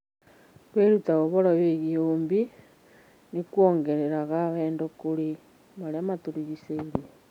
Kwĩruta ũhoro wĩgiĩ ũũmbi nĩ kuongereraga wendo kũrĩ marĩa matũrigicĩirie.